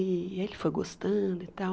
E ele foi gostando e tal.